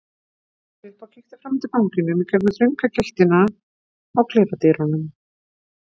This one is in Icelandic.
Svo stóð hann upp og kíkti fram eftir ganginum í gegnum þrönga gættina á klefadyrunum.